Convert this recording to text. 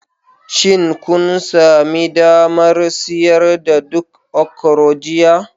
Shin kun sami damar siyar da duk okro jiya?